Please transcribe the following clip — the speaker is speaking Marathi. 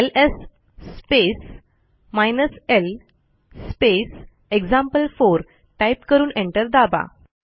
LS space hyphen L space एक्झाम्पल4 टाईप करून एंटर दाबा